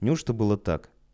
не у что было так